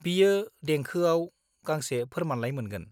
बियो देंखौआव गांसे फोर्मानलाइ मोनगोन।